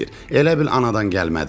Elə bil anadan gəlmədi.